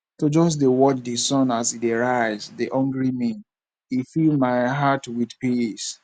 to just dey watch di sun as e dey rise dey hungry me and e fill my heart with peace